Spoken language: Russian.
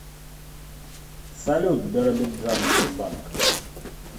салют биробиджан тербанк